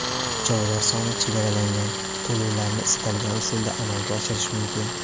Joylar soni chegaralangan, to‘lovlarni istalgan usulda amalga oshirish mumkin.